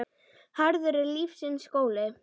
Harður er lífsins skóli.